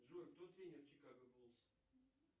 джой кто тренер чикаго буллс